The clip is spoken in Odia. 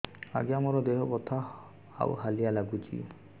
ଆଜ୍ଞା ମୋର ଦେହ ବଥା ଆଉ ହାଲିଆ ଲାଗୁଚି